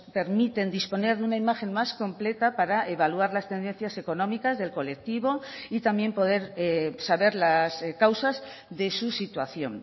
permiten disponer de una imagen más completa para evaluar las tendencias económicas del colectivo y también poder saber las causas de su situación